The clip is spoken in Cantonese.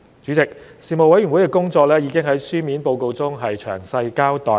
主席，事務委員會的工作已在書面報告中詳細交代。